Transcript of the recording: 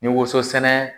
Ni woso sɛnɛ